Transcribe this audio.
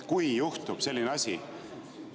Kui juhtub selline asi …